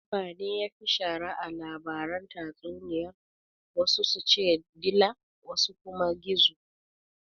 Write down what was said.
Dabbane yafi shara a labaran tatsuniyar wasu su ce dila wasu kuma gizo